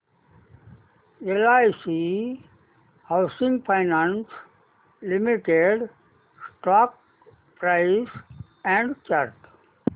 LIC housing finance limited stock price and chart